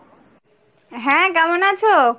হ্যাঁ কেমন আছো ?